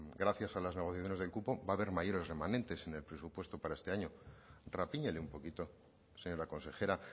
gracias a las negociaciones del cupo va haber mayores remanentes en el presupuesto para este año rapíñele un poquito señora consejera